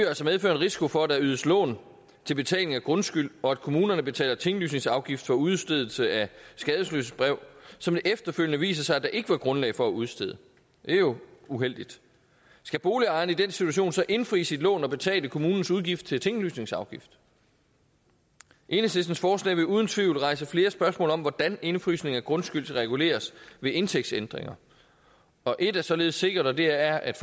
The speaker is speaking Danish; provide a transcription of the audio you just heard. altså medføre en risiko for at der ydes lån til betaling af grundskyld og at kommunerne betaler tinglysningsafgift for udstedelse af skadesløsbrev som det efterfølgende viser sig der ikke var grundlag for at udstede det er jo uheldigt skal boligejeren i den situation så indfri sit lån og betale kommunens udgift til tinglysningsafgift enhedslistens forslag vil uden tvivl rejse flere spørgsmål om hvordan indefrysning af grundskyld skal reguleres ved indtægtsændringer et er således sikkert og det er at